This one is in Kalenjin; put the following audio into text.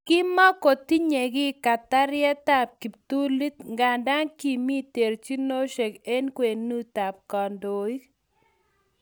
Kimakotinyei kiy katyaretab kiptulit nganda kimi terchinosiek eng kwenutab kandoik